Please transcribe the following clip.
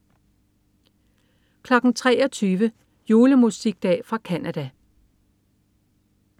23.00 Julemusikdag fra Canada